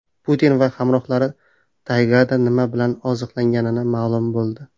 Putin va hamrohlari taygada nima bilan oziqlangani ma’lum bo‘ldi.